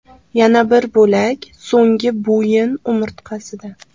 Yana bir bo‘lak so‘nggi bo‘yin umurtqasida.